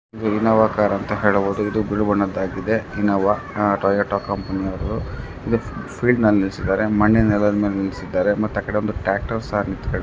ಇದು Innova car ಅಂತ ಹೇಳಬಹುದು ಇದು ಬ್ಲೂ ಬಣ್ಣದ ಆಗಿದೆ ಇನ್ನೋವಾ ಟೊಯಾಟಾ ಕಂಪನಿ ಅವರದ್ದು ಇದು ಫೀಲ್ಡ್ ನಲ್ಲಿ ನಿಲ್ಸಿದ್ದಾರೆ ಮಣ್ಣಿನ ನೆಲದ್ ಮೇಲೆ ನಿಲ್ಸಿದಾರೆ ಮತ್ತೆ ಆಕಡೆ ಟ್ರ್ಯಾಕ್ಟರ್ ಒಂದು ಸಹ ನಿಂತ್ಕೊಂಡಿದೆ.